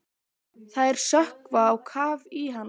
Þær sökkva á kaf í hans.